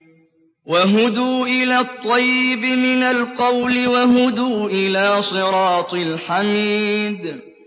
وَهُدُوا إِلَى الطَّيِّبِ مِنَ الْقَوْلِ وَهُدُوا إِلَىٰ صِرَاطِ الْحَمِيدِ